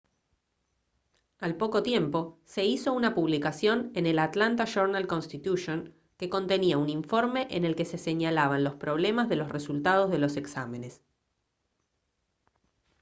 al poco tiempo se hizo una publicación en el atlanta journal-constitution que contenía un informe en el que se señalaban los problemas de los resultados de los exámenes